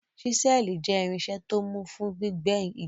Ṣísẹ́ẹ̀lì jẹ́ irinṣẹ́ tó mú fún gbígbẹ́ igi.